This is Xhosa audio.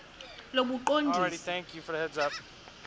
lobuqondisi